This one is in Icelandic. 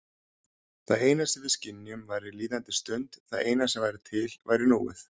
Það eina sem við skynjuðum væri líðandi stund, það eina sem væri til væri núið.